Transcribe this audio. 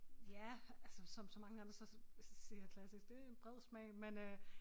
Ja altså som så mange andre så siger jeg klassisk det en bred smag men øh